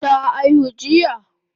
Ta aihu jiya?